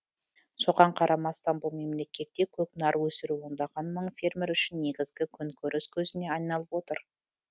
соған қарамастан бұл мемлекетте көкнар өсіру ондаған мың фермер үшін негізгі күнкөріс көзіне айналып отыр